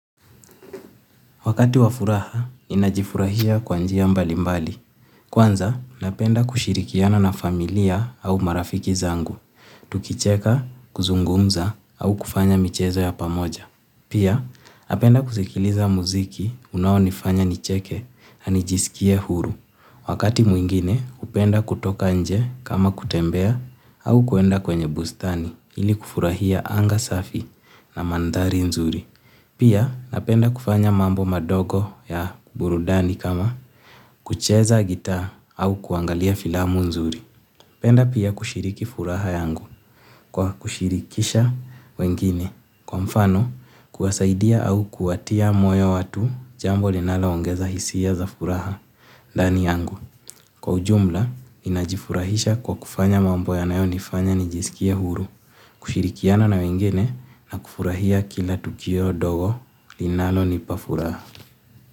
Wakati wa furaha, n inajifurahia kwa njia mbali mbali. Kwanza, napenda kushirikiana na familia au marafiki zangu. Tukicheka, kuzungumza au kufanya michezo ya pamoja. Pia napenda kusikiliza muziki unaonifanya nicheke na nijisikie huru. Wakati mwingine, hupenda kutoka nje kama kutembea au kuenda kwenye bustani ili kufurahia anga safi na mandhari nzuri. Pia napenda kufanya mambo madogo ya burudani kama kucheza gitaa au kuangalia filamu nzuri. Napenda pia kushiriki furaha yangu kwa kushirikisha wengine. Kwa mfano kuwasaidia au kuwatia moyo watu jambo linaloongeza hisia za furaha ndani yangu. Kwa ujumla ninajifurahisha kwa kufanya mambo yanayonifanya nijisikie huru. Kushirikiana na wengine na kufurahia kila tukio dogo linalonipa furaha.